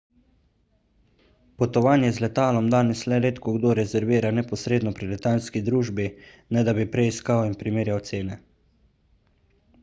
potovanje z letalom danes le redkokdo rezervira neposredno pri letalski družbi ne da bi prej iskal in primerjal cene